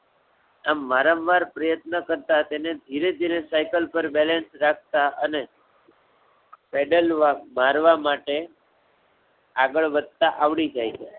આમ વારંવાર પ્રયત્ન કરતાં તેને ધીરે ધીરે સાઇકલ પર બેલેન્સ રાખતા અને પેડલ મારવા માટે આગળ વધતાં આવડી જાય છે.